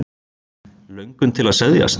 Löngun til að seðjast?